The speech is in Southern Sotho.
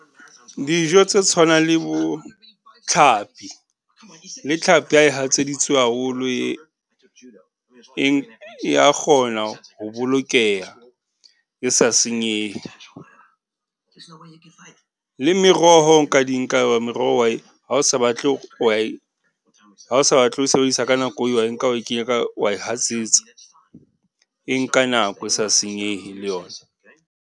Dijo tse tshwanang le bo tlhapi, le tlhapi ya e hatseditsweng haholo e, e ya kgona ho bolokeha e sa senyehe. Le meroho nka di nka, meroho o wa e, ha o sa batle o wa e, ha o sa batle ho e sebedisa ka nako eo, o wa e nka wa e kenya ka, o wa e hatsetsa. E nka nako e sa senyehe le yona.